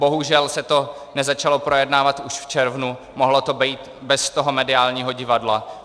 Bohužel se to nezačalo projednávat už v červnu, mohlo to být bez toho mediálního divadla.